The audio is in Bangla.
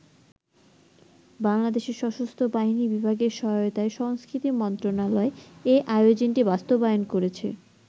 বাংলাদেশের সশস্ত্র বাহিনী বিভাগের সহায়তায় সংস্কৃতি মন্ত্রণালয় এই আয়োজনটি বাস্তবায়ন করেছে।